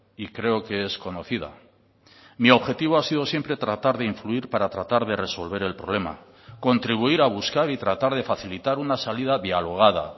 y creo que es conocida mi objetivo ha sido siempre tratar de influir para tratar de resolver el problema contribuir a buscar y tratar de facilitar una salida dialogada